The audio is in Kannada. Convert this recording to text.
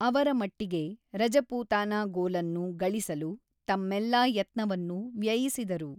ಅವರ ಮಟ್ಟಿಗೆ, ರಜಪೂತಾನಾ ಗೋಲನ್ನು ಗಳಿಸಲು ತಮ್ಮೆಲ್ಲಾ ಯತ್ನವನ್ನು ವ್ಯಯಿಸಿದರು.